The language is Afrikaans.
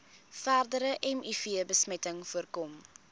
verdere mivbesmetting voorkom